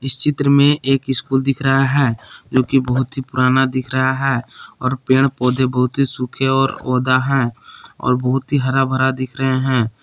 इस चित्र में एक स्कूल दिख रहा है जो कि बहुत ही पुराना दिख रहा है और पेड़ पौधे बहुत ही सूखे और ओदा हैं और बहुत ही हरा भरा दिख रहे हैं।